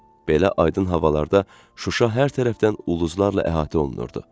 Belə aydın havalarda Şuşa hər tərəfdən ulduzlarla əhatə olunurdu.